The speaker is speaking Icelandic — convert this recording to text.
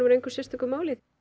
engu sérstöku máli